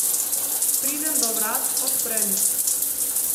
Pridem do vrat, odprem jih.